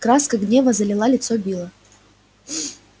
краска гнева залила лицо билла